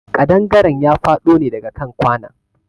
Ƙadangaren ya faɗo ne daga kan kwanon.